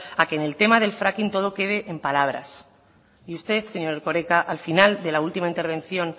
a que en el tema del fracking todo quede en palabras y usted señor erkoreka al final de la última intervención